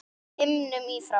himnum í frá